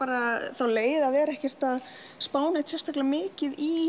þá leið að vera ekkert að spá neitt sérstaklega mikið í